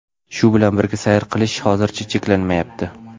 Shu bilan birga sayr qilish hozircha cheklanmayapti.